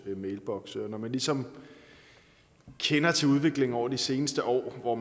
mailboksen og når man ligesom kender til udviklingen over de seneste år og